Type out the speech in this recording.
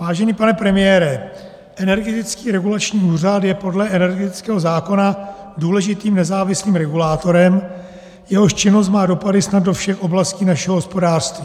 Vážený pane premiére, Energetický regulační úřad je podle energetického zákona důležitým nezávislým regulátorem, jehož činnost má dopady snad do všech oblastí našeho hospodářství.